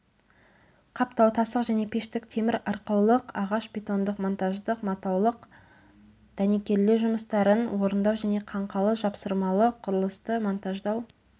қаптау тастық және пештік темір арқаулық ағаш бетондық монтаждық матаулық дәнекерлеу жұмыстарын орындау және қаңқалы жапсырмалы құрылысты монтаждау